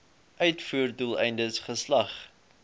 uitvoer doeleindes geslag